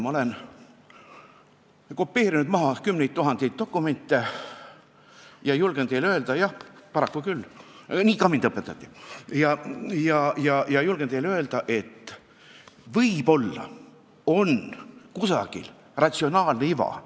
Ma olen kopeerinud kümneid tuhandeid dokumente ja julgen teile öelda – jah, paraku küll, nii mind ka õpetati –, et võib-olla on selles eelnõus mingi ratsionaalne iva.